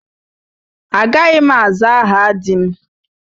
Agaghị m aza aha di m.